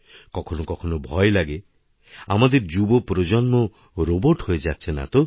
কখনো কখনো ভয় লাগে আমাদের যুব প্রজন্ম রোবোট হয়েযাচ্ছে না তো